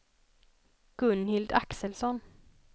Gunhild Axelsson